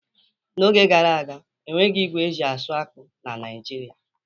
N'oge gara aga, enweghị ígwè eji-asụ akpụ na Naịjirịa.